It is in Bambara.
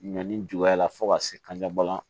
Ɲɔni juguya la fo ka se kanjabana